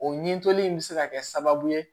O ɲituli in be se ka kɛ sababu ye